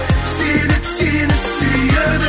себеп сені сүйеді